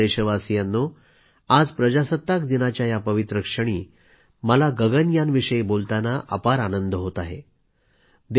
माझ्या प्रिय देशवासियांनो आज प्रजासत्ताक दिवसाच्या पवित्र काळामध्ये मला गगनयानविषयी बोलताना अपार आनंद होत आहे